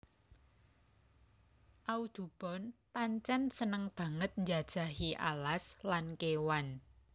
Audubon pancen seneng banget njajahi alas lan kewan